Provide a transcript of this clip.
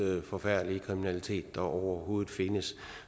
forfærdelige kriminalitet der overhovedet findes